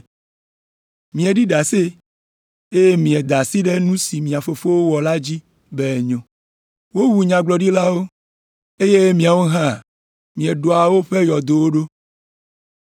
Mieɖi ɖase, eye mieda asi ɖe nu si mia fofowo wɔ la dzi be enyo. Wowu nyagblɔɖilawo, eye miawo hã mieɖɔa woƒe yɔdowo ɖo.